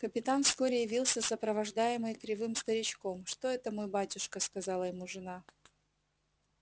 капитан вскоре явился сопровождаемый кривым старичком что это мой батюшка сказала ему жена